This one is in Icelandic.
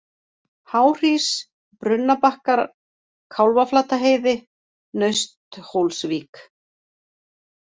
Háhrís, Brunnabakkar, Kálfaflataheiði, Nausthólsvík